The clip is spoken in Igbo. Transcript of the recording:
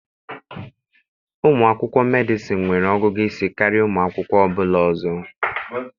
Ụmụ akwụkwọ Medịsịn nwere ọgụgụ isi karịa ụmụ akwụkwọ ọ bụla ọzọ.